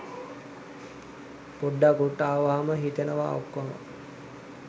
පොඩ්ඩක් උඩට අවම හිතනවා ඔක්කොම